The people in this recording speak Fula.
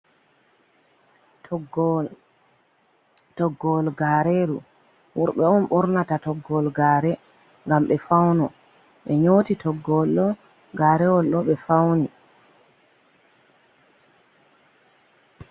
Toggowol Toggowol gareru wurɓe on ɓornata toggowol gaare, ngam ɓe fauno. Ɓe nyoti toggowol garewol ɗo ɓe fauna.